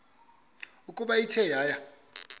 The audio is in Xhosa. ukuba ithe yaya